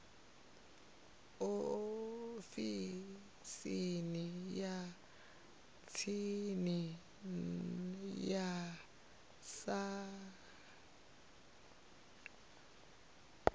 ofisini ya tsini ya sars